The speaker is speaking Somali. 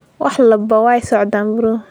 Wax walba way socdaan bro.